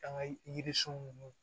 An ka yirisun ninnu